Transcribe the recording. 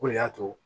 O de y'a to